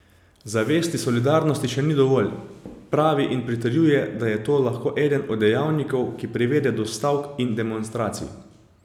Zavesti solidarnosti še ni dovolj, pravi in pritrjuje, da je to lahko eden od dejavnikov, ki privede do stavk in demonstracij.